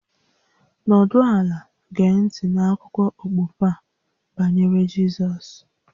Nọdụ ala gee ntị n'akụkọ okpukpe a banyere Jizọs